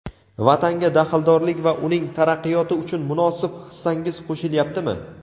Vatanga daxldorlik va uning taraqqiyoti uchun munosib hissangiz qoʼshilyaptimi.